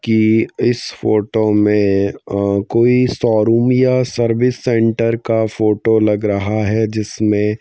की इस फोटो में अ कोई शोरूम या सर्विस सेंटर का फोटो लग रहा है जिसमें--